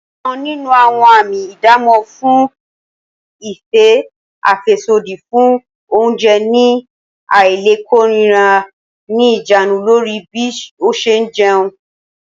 Ọ̀kan nínú àwọn àmì ìdámò fún ìfẹ́ àfẹ́sódì fún oúnjẹ ní àìlèkóraẹni ní ìjánu lórí bí ó ṣe jẹun